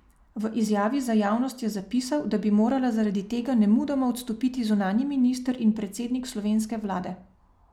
V izjavi za javnost je zapisal, da bi morala zaradi tega nemudoma odstopiti zunanji minister in predsednik slovenske vlade.